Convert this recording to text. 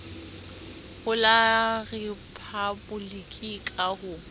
ho la riphaboliki ka ho